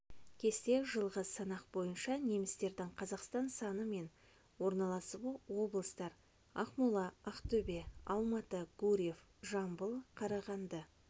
кесте жылғы санақ бойынша немістердің қазақстан саны мен орналасуы облыстар ақмола ақтөбе алматы гурьев жамбыл қарағанды